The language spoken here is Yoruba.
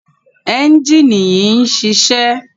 ẹ́njìnì yìí ń ṣiṣẹ́.